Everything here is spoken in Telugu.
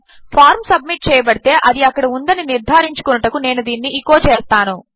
ఫార్మ్సబ్మిట్చేయబడితే అదిఅక్కడఉందనినిర్ధారించుకొనుటకునేనుదీనిని ఎచో చేస్తాను